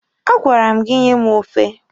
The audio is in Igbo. A gwara m gị nye m ofe!